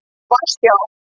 Varsjá